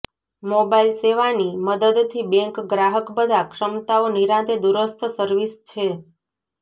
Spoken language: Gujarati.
મોબાઇલ સેવાની મદદથી બેંક ગ્રાહક બધા ક્ષમતાઓ નિરાંતે દૂરસ્થ સર્વિસ છે